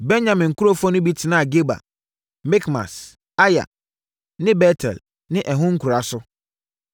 Benyamin nkurɔfoɔ no bi tenaa Geba, Mikmas, Aya ne Bet-El ne ɛho nkuraa so.